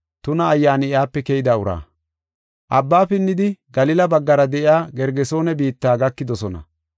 Abba pinnidi Galila baggara de7iya Gergesoone biitta gakidosona.